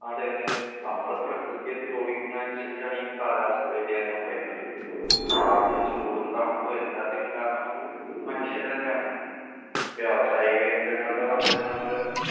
അതെ അതെ നമ്മള് പ്രകൃതിയെ ദ്രോഹിക്കുന്നതനുസരിച്ചാണ് ഈ കാലാവസ്ഥ വ്യതിയാനവും ഉണ്ടായിക്കൊണ്ടിരിക്കുന്നത്. മാറുന്ന ചൂടും തണുപ്പും എല്ലാത്തിനും കാരണം നമ്മള് മനുഷ്യര് തന്നെയാണ്. വ്യവസായിക കേന്ദ്രങ്ങളുടെ വർദ്ധനവ് മൂലം